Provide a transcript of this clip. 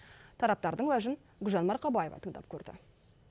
тараптардың уәжін гүлжан марқабаева тыңдап көрді